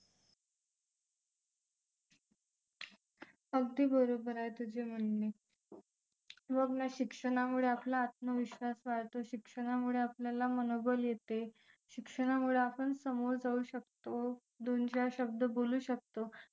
अगदी बरोबर आहे तुझे म्हणणे बघ ना शिक्षणामुळे आपला आत्मविश्वास वाढदिवसाच्या आपल्याला मनोबल येते शिक्षणामुळे आपण समोर जाऊ शकतो दोन-चार शब्द बोलू शकतो